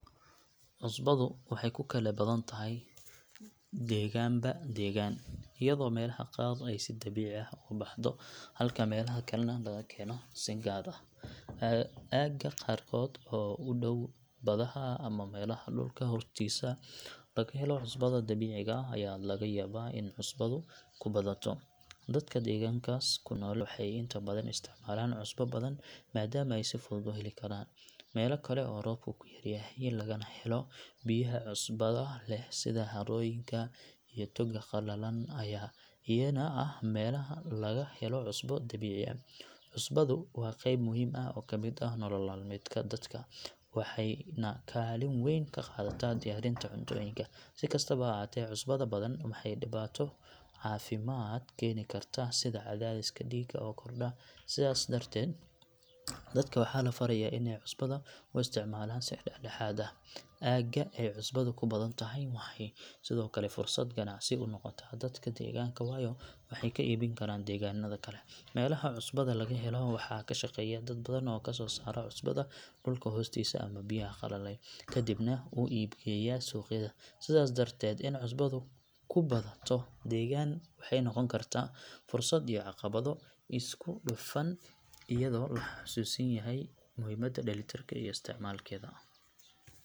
Cusbadu waxay ku kala badan tahay deegaanba deegaan, iyadoo meelaha qaar ay si dabiici ah uga buuxdo halka meelaha kalena laga keeno si gaar ah. Aagagga qaarkood oo u dhow badaha ama meelaha dhulka hoostiisa laga helo cusbada dabiiciga ah ayaa laga yaabaa in cusbadu ku badato. Dadka deegaankaas ku nool waxay inta badan isticmaalaan cusbo badan maadaama ay si fudud u heli karaan. Meelo kale oo roobku yar yahay lagana helo biyaha cusbada leh sida harooyinka iyo togagga qalalan ayaa iyana ah meelaha laga helo cusbo dabiici ah. Cusbadu waa qayb muhiim ah oo ka mid ah nolol maalmeedka dadka, waxayna kaalin weyn ka qaadataa diyaarinta cuntooyinka. Si kastaba ha ahaatee, cusbada badan waxay dhibaato caafimaad keeni kartaa sida cadaadiska dhiigga oo kordha, sidaas darteed dadka waxaa la farayaa in ay cusbada u isticmaalaan si dhexdhexaad ah. Aagagga ay cusbadu ku badan tahay waxay sidoo kale fursad ganacsi u noqotaa dadka deegaanka, waayo waxay ka iibin karaan deegaanada kale. Meelaha cusbada laga helo waxaa ka shaqeeya dad badan oo kazoo saara cusbada dhulka hoostiisa ama biyaha qalalay, kadibna u iib geeya suuqyada. Sidaas darteed, in cusbadu ku badato deegaan waxay noqon kartaa fursad iyo caqabado isku dhafan, iyadoo la xusuusan yahay muhiimada dheelitirka ee isticmaalkeeda.